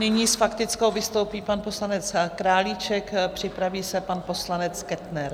Nyní s faktickou vystoupí pan poslanec Králíček, připraví se pan poslanec Kettner.